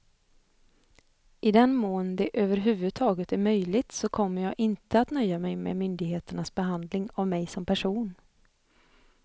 I den mån det över huvud taget är möjligt så kommer jag inte att nöja mig med myndigheternas behandling av mig som person.